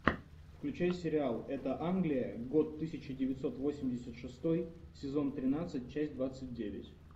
включай сериал эта англия год тысяча девятьсот восемьдесят шестой сезон тринадцать часть двадцать девять